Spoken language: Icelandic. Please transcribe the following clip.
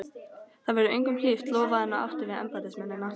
Það verður engum hlíft! lofaði hann og átti við embættismennina.